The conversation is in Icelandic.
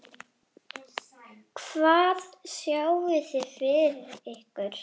Hvað sjáið þið fyrir ykkur?